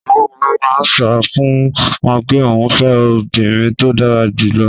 Bàbá wọn máa ń sọ fún wọn pé òun fẹ́ obìnrin tó dára jù lọ.